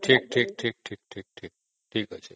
ଠିକ ଠିକ ଠିକ ଠିକ ଅଛି